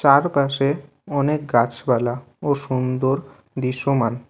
চারপাশে অনেক গাছপালা ও সুন্দর দৃশ্যমান।